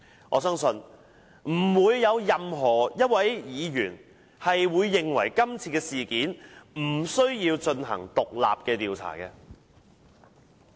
我相信不會有任何一位議員認為今次事件不需要進行獨立調查。